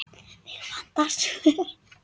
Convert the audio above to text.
Mig vantar svör.